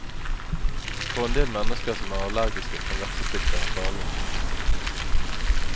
For en del mennesker som er allergiske, kan vepsestikk være farlig.